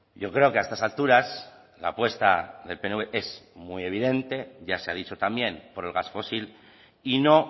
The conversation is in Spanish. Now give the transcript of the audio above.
yo creo que a estas alturas la apuesta del pnv es muy evidente ya se ha dicho también por el gas fósil y no